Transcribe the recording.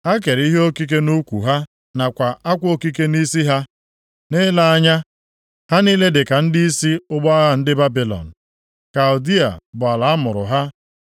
ha kere ihe okike + 23:15 Maọbụ, belịt nʼukwu ha nakwa akwa okike nʼisi ha; nʼile anya ha niile dịka ndịisi ụgbọ agha ndị Babilọn, Kaldịa bụ ala amụrụ ha.